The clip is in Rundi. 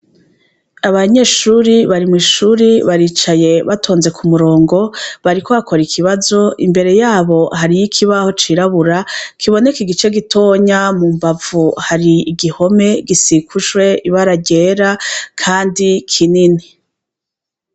Abanyeshuri bari mw'ishuri baricaye batonze k'umurongo bariko bakora ikibazo. Imbere yabo hariy'ikibaho cirabura kiboneka igice gitonya mumbavu hari igihome gisigushwe ibara ryera kandi kinini.